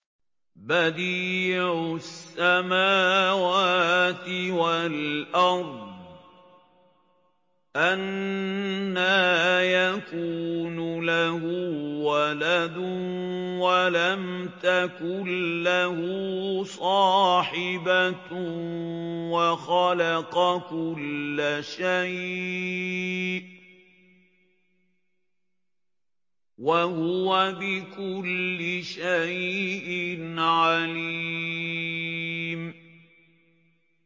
بَدِيعُ السَّمَاوَاتِ وَالْأَرْضِ ۖ أَنَّىٰ يَكُونُ لَهُ وَلَدٌ وَلَمْ تَكُن لَّهُ صَاحِبَةٌ ۖ وَخَلَقَ كُلَّ شَيْءٍ ۖ وَهُوَ بِكُلِّ شَيْءٍ عَلِيمٌ